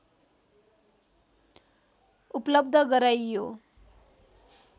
उपलब्ध गराइयो